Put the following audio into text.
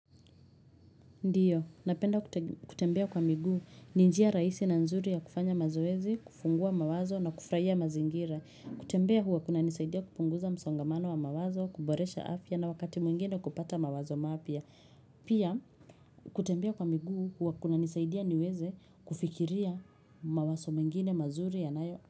Ndiyo, napenda kutembea kwa miguu, ni njia rahisi na nzuri ya kufanya mazoezi, kufungua mawazo na kufurahia mazingira. Kutembea huwa kunanisaidia kupunguza msongamano wa mawazo, kuboresha afya na wakati mwingine kupata mawazo maapya. Pia, kutembea kwa miguu huwa kunanisaidia niweze kufikiria mawaso mengine mazuri yanayo.